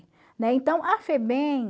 Né? Então, a Febem